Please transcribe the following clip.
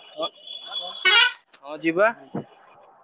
ହଁ ହଁ ଯିବା